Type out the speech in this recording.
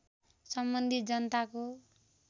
सम्बन्धित जनताको